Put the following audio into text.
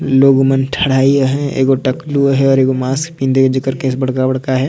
लोग मन ठड़़्ड़ाई हवे एकगो टकलू हे और एक माक्स पहने हे जीकर केंस बड़का बड़का हे।